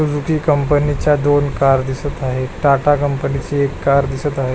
Company च्या दोन car दिसत आहे टाटा कंपनी ची एक कार दिसत आहे.